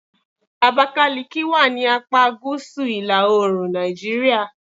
Abakiliki wà ni apá gúúsù ila-oorun Nàìjíríà. "